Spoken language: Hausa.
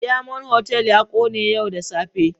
Diamond Hotel ya kone yau da safe.